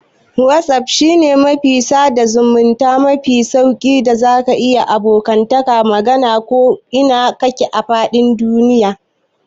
Wazaf shine shafin sada zamunta mafi sauƙi da zaka yiwa abokanka magana a ko ina kake a fadin duniya.